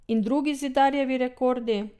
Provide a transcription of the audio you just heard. In drugi Zidarjevi rekordi?